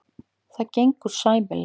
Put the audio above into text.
Það gengur sæmilega.